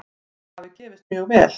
Það hafi gefist mjög vel.